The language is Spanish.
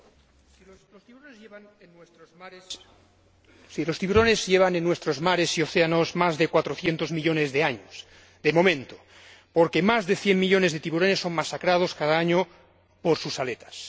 Señor Presidente, los tiburones llevan en nuestros mares y océanos más de 400 millones de años, de momento, porque más de 100 millones de tiburones son masacrados cada año por sus aletas.